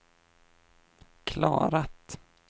klarat